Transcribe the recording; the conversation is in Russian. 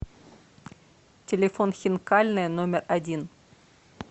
телефон хинкальная номер один